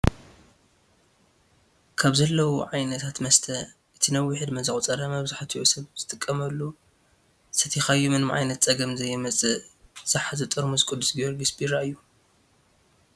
ካብ ዘለዉ ዓነታት መስተ እቲ ነዊሕ ዕደመ ዘቁፀረ መብዛሕትኡ ሰብ ዝጥቀመሉ ሰቲኻዮ ምንም ዓይነት ፀገም ዘየምፅእ ዝሓዘ ጥርሙዝ ቅዱስ ጊዮርጊስ ቢራ እዩ።